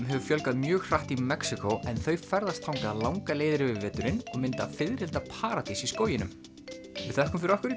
hefur fjölgað mjög hratt í Mexíkó en þau ferðast þangað langar leiðir yfir veturinn og mynda fiðrildaparadís í skóginum við þökkum fyrir okkur